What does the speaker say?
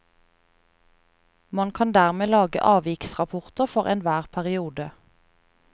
Man kan dermed lage avviksrapporter for enhver periode.